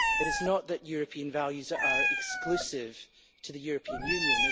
It is not that European values are exclusive to the European Union